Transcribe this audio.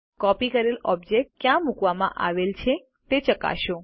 copy કરેલ object ક્યાં મુકવામાં આવેલ છે તે ચકાસો